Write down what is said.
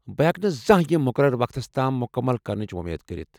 بہٕ ہیكہٕ نہٕ زانہہ یِم مُقررٕ وقتس تام مُكمل كرنٕچ ووٚمید كرِتھ ۔